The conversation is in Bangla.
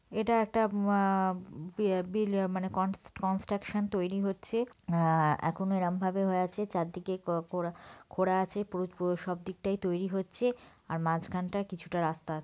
এটা একটা মা-আ- বিয়া বিল মানে কনস্ট কনস্ট্রাকশন তৈরী হচ্ছে। আ- এখন এরম ভাবে হয়ে আছে. চারদিকে ক কোরা খোঁড়া আছে প্রো প্রো সব দিক টাই তৈরী হচ্ছে। আর মাঝখানটায় কিছুটা রাস্তা।